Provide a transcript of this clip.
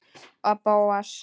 Og Bóas.